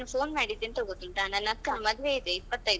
ನಾನ್ phone ಮಾಡಿದ್ದು ಎಂತಕ್ಗೊತ್ತುಂಟಾ ನನ್ನ ಅಕ್ಕನ್ ಮದ್ವೆ ಇದೆ ಇಪ್ಪತೈದಕ್ಕೆ.